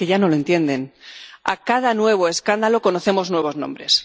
es que ya no lo entienden. Con cada nuevo escándalo conocemos nuevos nombres.